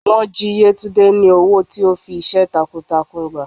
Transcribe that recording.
wọn jí yetúnde ni ọwọ tí o fí iṣẹ takuǹtakuǹ gbá